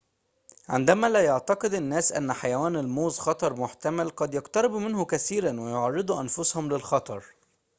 عندما لا يعتقد الناس أن حيوان الموظ خطر محتمل قد يقتربوا منه كثيراً ويعرّضوا أنفسهم للخطر